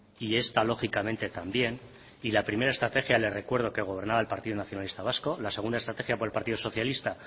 y esta lógicamente también y la primera estrategia le recuerdo que gobernaba el partido nacionalista vasco la segunda estrategia por el partido socialista